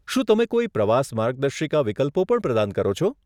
શું તમે કોઈ પ્રવાસ માર્ગદર્શિકા વિકલ્પો પણ પ્રદાન કરો છો?